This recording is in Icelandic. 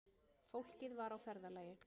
Fólkið var á ferðalagi